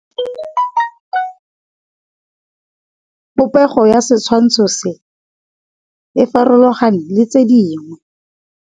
Popêgo ya setshwantshô se, e farologane le tse dingwe.